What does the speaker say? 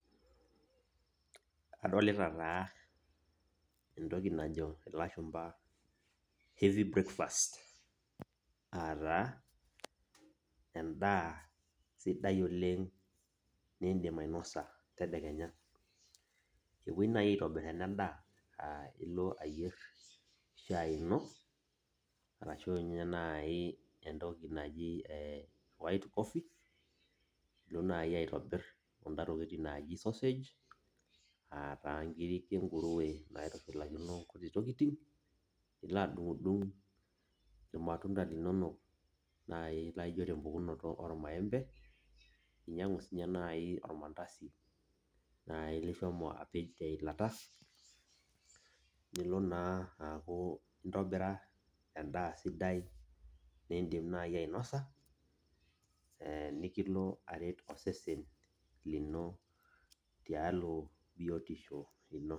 adolita taa entoki najo ilashumpa heavy breakfast aataa endaa sidai oleng' niidim ainosa tadekenya epuoi naaji aitobir ena daa nilo ayier shaai ino araki entoki naji whitecoffee nilo naai aitobir kuna tokitin naaji sausage aa inkirik enkurue naitushlakino inkuti tokitin nilo adung' irmatunda linonok naai laijo tempukutano irmaembe ninyang'u sininye naai ormandasi lishomo apej teilata niaku naa intobira endaa sidai niindim naaji sinye ainosa nikilo aret osesen lino tialo biotisho ino